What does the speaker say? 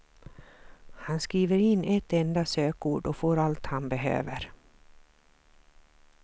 Han skriver in ett enda sökord och får allt han behöver.